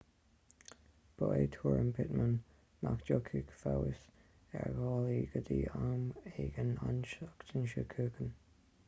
ba é tuairim pittman nach dtiocfadh feabhas ar dhálaí go dtí am éigin an tseachtain seo chugainn